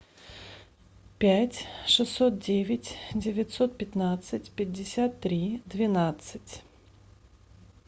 пять шестьсот девять девятьсот пятнадцать пятьдесят три двенадцать